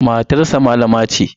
Matarsa malama ce.